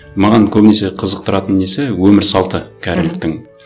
маған көбінесе қызықтыратын несі өмір салты кәріліктің